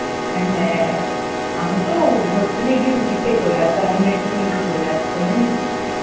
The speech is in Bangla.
হ্যাঁ আমি তো hostel গিয়ে রুটি খেয়ে চলে আসতাম অন্যের টিফিন খেয়ে চলে আসতাম জানিস্?